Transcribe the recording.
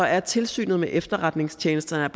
er et tilsyn med efterretningstjenesterne